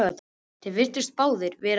Þeir virtust báðir vera um þrítugt.